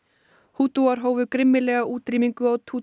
hútúar hófu grimmilega útrýmingu á